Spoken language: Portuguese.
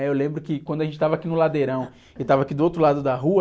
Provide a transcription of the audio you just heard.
né? Eu lembro que quando a gente estava aqui no ladeirão e estava aqui do outro lado da rua,